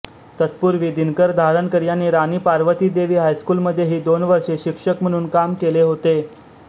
तत्पूर्वी दिनकर धारणकर यांनी राणी पार्वतीदेवी हायस्कूलमध्येही दोन वर्षे शिक्षक म्हणून काम केले होते